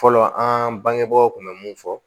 Fɔlɔ an bangebaaw kun bɛ mun fɔ